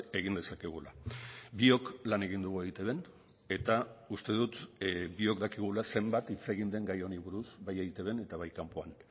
egin dezakegula biok lan egin dugu eitbn eta uste dut biok dakigula zenbat hitz egin den gai honi buruz bai eitbn eta bai kanpoan